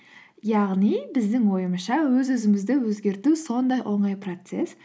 яғни біздің ойымызша өз өзімізді өзгерту сондай оңай процесс